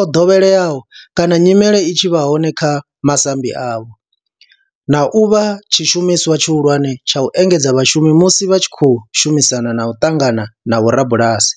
o dovheleaho kana nyimele i tshi vha hone kha masambi avho, na u vha tshishumiswa tshihulwane tsha u engedzedza vhashumi musi vha tshi khou shumisana na u ṱangana na vhorabulasi.